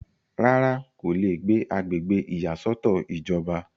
rárá, kò le gbé agbègbè ìyàsọ́tọ̀ ìjọba